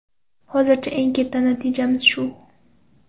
Hozircha eng katta natijamiz shu.